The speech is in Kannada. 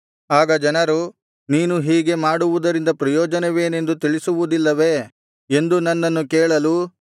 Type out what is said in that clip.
ಆಗ ಜನರು ನೀನು ಹೀಗೆ ಮಾಡುವುದರಿಂದ ಪ್ರಯೋಜನವೇನೆಂದು ತಿಳಿಸುವುದಿಲ್ಲವೇ ಎಂದು ನನ್ನನ್ನು ಕೇಳಲು